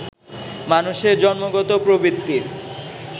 মানুষের জন্মগত প্রবৃত্তির